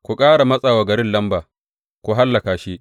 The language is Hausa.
Ku ƙara matsa wa garin lamba, ku hallaka shi.’